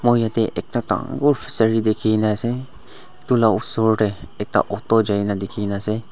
moi yatae ekta dangor fishery dikhina ase edu la osor tae ekta auto jaina dikhina ase.